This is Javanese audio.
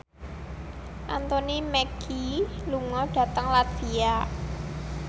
Anthony Mackie lunga dhateng latvia